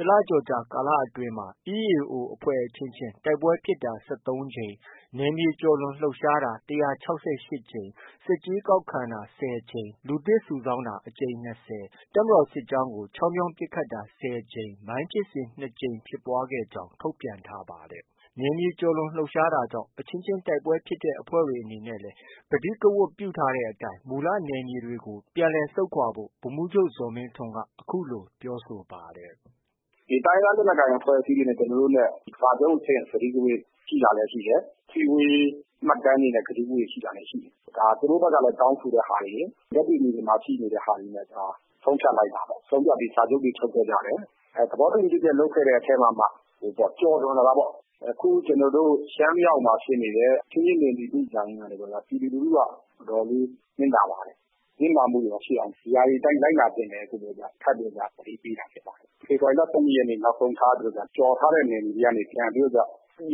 ၊ တလကျော် ကာလအတွင်းမှာ EAO အချင်းချင်း တိုက်ပွဲဖြစ်ပွားတာ ၁၃ ကြိမ်၊ နယ်မြေကျော် လွန်လှုပ်ရှားတာ ၁၆၈ ကြိမ်၊ ဆက်ကြေး ကောက်ခံတာ ၁၀ ကြိမ်၊ လူသစ်စုဆောင်းတာ အကြိမ်၂၀၊ တပ်မတော်စစ်ကြောင်းကို ချောင်းမြောင်းပစ်ခတ်တာ ၁၀ ကြိမ်၊ မိုင်းဖြစ်စဉ် ၂ ကြိမ်ဖြစ်ပွားခဲ့ကြောင်း ထုတ်ပြန် ထားပါတယ်။ နယ်မြေကျော်လွန်လှုပ်ရှားတာကြောင့် အချင်းချင်းတိုက်ပွဲဖြစ်ပွားတဲ့ အဖွဲ့တွေအနေနဲ့ လည်း ကတိကဝတ်ပြု ထားတဲ့အတိုင်း မူလနယ်မြေတွေကို ပြန်လည်ဆုတ်ခွာဖို့ ဗိုလ်မှူးချုပ်ဇော်မင်းထွန်းက အခုလို ပြောဆိုပါတယ်။ “တိုင်းရင်းသားလက်နက်ကိုင်အဖွဲ့တွေနဲ့ ကျနော်တို့ကြားမှာ စာချုပ်အဆင့် ကတိကဝတ်ရှိ တာလည်း ရှိတယ်။ အစည်းအဝေး မှတ်တမ်းတွေနဲ့ ကတိကဝတ်ရှိတာတွေလည်း ရှိ တယ်။ ဒါ သူတို့ဘက်ကလည်း တောင်းဆိုတဲ့ ဟာတွေရယ်၊ လက်တွေ့မြေပြင်မှာ ရှိနေ တဲ့ဟာတွေနဲ့ ဆုံးဖြတ်လိုက်တာပေါ့။ ဆုံးဖြတ်ပြီး စာချုပ်တွေ ချုပ်ခဲ့ကြတယ်။ သဘောတူ ညီချက် လုပ်တဲ့အထဲမှာမှ ကျော်လွန်လာတာပေါ့။ အခုကျနော်တို့ ရှမ်းမြောက်မှာ ဖြစ်နေ တဲ့ အချင်းချင်း နယ်မြေလုကြရင်းကနေပြီးတော့မှ ပြည်သူလူထုက အတော်လေး နစ်နာ ပါတယ်။ နစ်နာမှုတွေ မရှိ အောင် ဒီဟာတွေအတိုင်း လိုက်နာဖို့ ထပ်ပြီး သတိပေး တာဖြစ်ပါတယ်။ ဖေဖော်ဝါရီလ ၁၂ ရက်နေ့ နောက်ဆုံး ထားပြီးတော့ ကျော်ထားတဲ့ နယ်မြေတွေကနေပြီး ရုပ်သိ